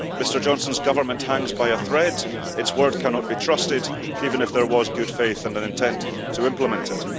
Mr Johnson's Government hangs by a thread and its word cannot be trusted even if there was good faith and an intent to implement it.